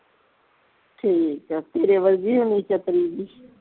ਠੀਕ ਆ ਤੇਰੀ ਵਰਗੀ ਹੋਣੀ ਚਤਰੀ ਜੀ